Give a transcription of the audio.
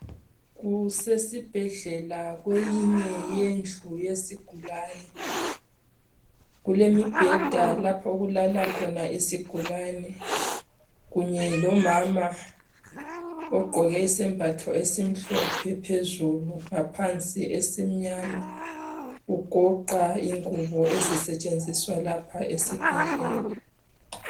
Kuse sibhedlela kweyinye yendlu yesigulane. Kulemibheda lapho okulala khona isigulani. Kunye lomama ogqoke isembatho esimhlophe phezulu, ngaphansi esimnyama. Ugoqa ingubo ezisetshenziswa lapha esibhedlela.